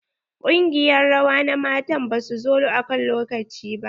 Ƙungiyar rawa na matan ba su zo akan lokaci ba.